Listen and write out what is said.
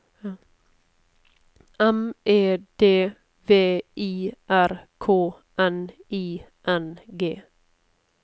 M E D V I R K N I N G